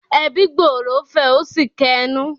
“Ẹbí gbòòrò” fẹ̀ ó sì kẹnú.